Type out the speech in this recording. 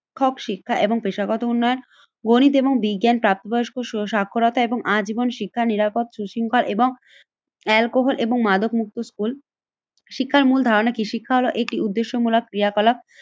ক্ষক শিক্ষা এবং পেশাগত উন্নয়ন গণিত এবং বিজ্ঞান প্রাপ্তবয়স্ক সাক্ষরতা এবং আজীবন শিক্ষা নিরাপদ সুশৃঙ্গ এবং অ্যালকোহল এবং মাদক মুক্ত স্কুল। শিক্ষার মূল ধারণা কি? শিক্ষা হলো একটি উদ্দেশ্যমূলক ক্রিয়াকলাপ